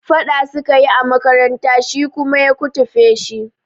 Faɗa sukayi a makaranta shi kuma ya kutufe shi